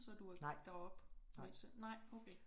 Nej nej